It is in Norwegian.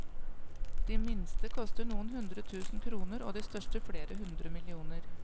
De minste koster noen hundre tusen kroner og de største flere hundre millioner.